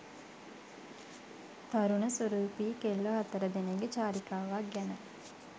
තරුණ සුරූපී කෙල්ලො හතර දෙනෙක්ගෙ චාරිකාවක් ගැන